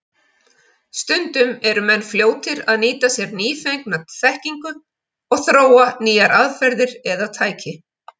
Stundum eru menn fljótir að nýta sér nýfengna þekkingu og þróa nýjar aðferðir eða tæki.